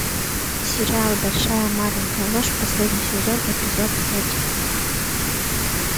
сериал большая маленькая ложь последний сезон эпизод пять